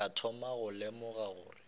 ka thoma go lemoga gore